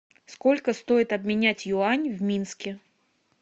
сколько стоит обменять юань в минске